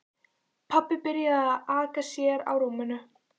Pabbi byrjaði að aka sér á rúminu.